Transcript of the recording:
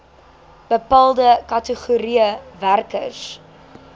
bepaalde kategorieë werkers